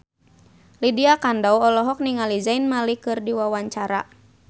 Lydia Kandou olohok ningali Zayn Malik keur diwawancara